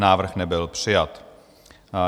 Návrh nebyl přijat.